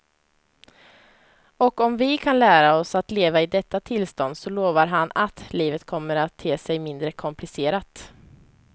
Och om vi kan lära oss att leva i detta tillstånd så lovar han att livet kommer att te sig mindre komplicerat.